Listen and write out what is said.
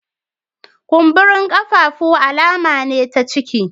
Kumburen kafafu alama ne ta ciki